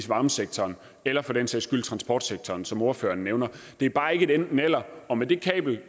varmesektoren eller for den sags skyld i transportsektoren som ordføreren nævner det er bare ikke et enten eller og med det kabel